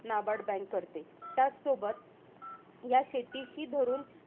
NABARD bank करते. त्याचसोबत ह्या शेतीशी धरून,